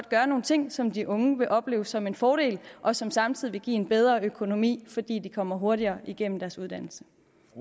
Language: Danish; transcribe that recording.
gøre nogle ting som de unge vil opleve som en fordel og som samtidig vil give en bedre økonomi fordi de kommer hurtigere igennem deres uddannelse